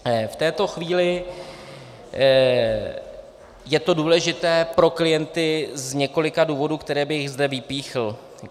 V této chvíli je to důležité pro klienty z několika důvodů, které bych zde vypíchl.